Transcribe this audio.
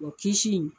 Wa kisi